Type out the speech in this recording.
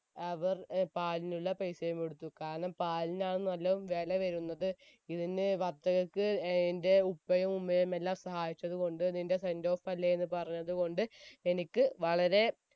അവർ പാലിനുള്ള പെയ്‌സയും കൊടുത്തു കാരണം പാലിനാണല്ലോ വേല വരുന്നത് ഇതിന് വത്തക്കക്ക് ഏർ എന്റെ ഉപ്പയും ഉമ്മയും എല്ലാം സഹായിചതുകൊണ്ട് നിന്റെ sendoff അല്ലെ എന്ന് പറഞ്ഞത് കൊണ്ട് എനിക്ക് വളരെ